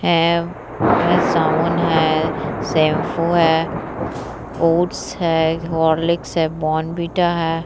है साबुन है शेम्पू है ओट्स है हॉर्लिक्स है बोर्नवीटा है।